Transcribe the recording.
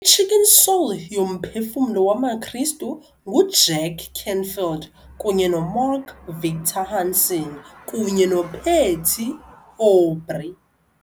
I-Chicken Soul yoMphefumlo wamaKristu nguJack Canfield kunye noMark Victor Hansen kunye noPatty Aubery